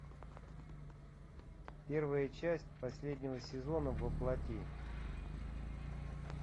первая часть последнего сезона во плоти